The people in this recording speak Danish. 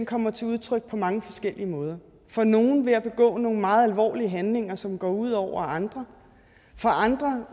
kommer til udtryk på mange forskellige måder for nogle ved at begå nogle meget alvorlige handlinger som går ud over andre for andre